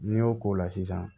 N'i y'o k'o la sisan